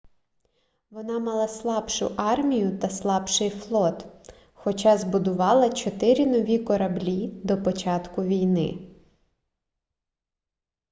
вона мала слабшу армію та слабший флот хоча збудувала чотири нові кораблі до початку війни